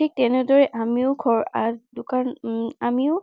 ঠিক তেনেদৰেই আমিও ঘৰ আহ দোকান উম আমিও